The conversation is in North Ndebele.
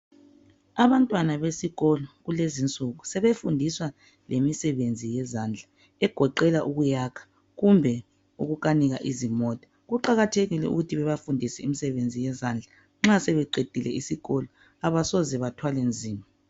Abantwana besikolo kulez'insuku sebefundiswa lemisebenzi yezandla egoqela ukuyaka kumbe ukanika izimota. Kuqakathekile ukuthi babafundise imisenzi yezandla, nxa sebeqedile isikolo abasoze bethwale nzima.